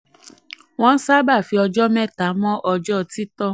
28. wọ́n sábà fi ọjọ́ mẹ́ta mọ ọjọ́ títọ́.